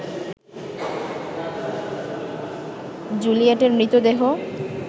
জুলিয়েটের মৃতদেহ